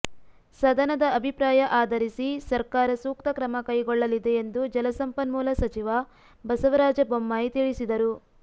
ಸದನದ ಅಭಿಪ್ರಾಯ ಆಧರಿಸಿ ಸರ್ಕಾರ ಸೂಕ್ತ ಕ್ರಮ ಕೈಗೊಳ್ಳಲಿದೆ ಎಂದು ಜಲಸಂಪನ್ಮೂಲ ಸಚಿವ ಬಸವರಾಜ ಬೊಮ್ಮಾಯಿ ತಿಳಿಸಿದರು